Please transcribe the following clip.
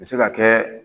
U bɛ se ka kɛ